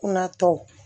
Kunnatɔw